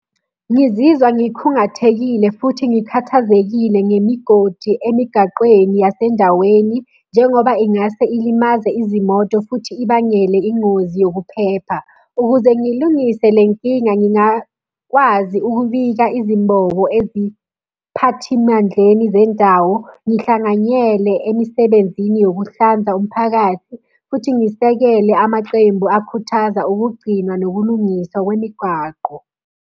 Ngizizwa ngikhungathekile futhi ngikhathazekile ngemigodi emigaqweni yasendaweni, njengoba ingase ilimaze izimoto futhi ibangele ingozi yokuphepha. Ukuze ngilungise le nkinga, ngingakwazi ukubika izimbobo eziphathimandleni zendawo, ngihlanganyele emisebenzini yokuhlanza umphakathi. Futhi ngisekele amaqembu akhuthaza ukugcinwa nokulungiswa kwemigwaqo.